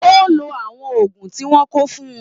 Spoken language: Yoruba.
O ló àwọn òògùn tí wọn kọ fún-ùn.